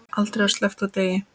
Aldrei var sleppt úr degi.